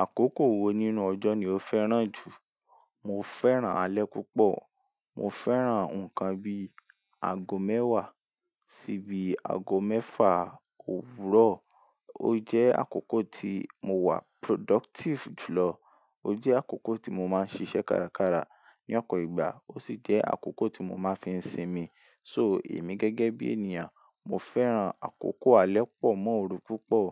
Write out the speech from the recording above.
Àkókò wo nínú ọjọ́ ni o fẹ́ràn jù? Mo fẹ́ràn alẹ́ púpọ̀. Mo fẹ́ràn ǹkan bí i ago mẹ́wàá sí i bí ago mẹ́fà òwúrọ̀. Ó jẹ́ àkókò tí mo wà productive jùlọ. Ó jẹ́ àkókò tí mo máa ń ṣiṣẹ́ kárakára ní ọ̀po ìgbà. Ó sì jẹ́ àkókò tí mo máa ń fi sinmi. So èmi gẹ́gẹ́ bí ènìyàn, mo fẹ́ràn àkókò alẹ́ pọ̀ mọ́ òru púpọ̀.